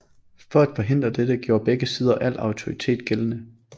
For at forhindre dette gjorde begge sider al autoritet gældende